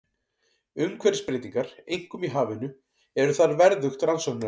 Umhverfisbreytingar, einkum í hafinu, eru þar verðugt rannsóknarefni.